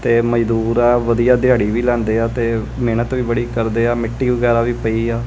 ਤੇ ਮਜ਼ਦੂਰ ਆ ਵਧੀਆ ਦਿਹਾੜੀ ਵੀ ਲਾਂਦੇ ਆ ਤੇ ਮਿਹਨਤ ਵੀ ਬੜੀ ਕਰਦੇ ਆ ਮਿੱਟੀ ਵਗੈਰਾ ਵੀ ਪਈ ਆ।